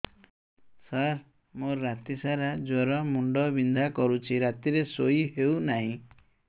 ସାର ମୋର ରାତି ସାରା ଜ୍ଵର ମୁଣ୍ଡ ବିନ୍ଧା କରୁଛି ରାତିରେ ଶୋଇ ହେଉ ନାହିଁ